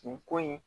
Nin ko in